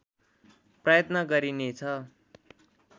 प्रयत्न गरिनेछ